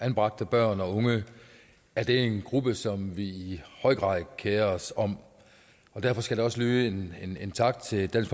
anbragte børn og unge er det en gruppe som vi i høj grad kerer os om og derfor skal der også lyde en tak til dansk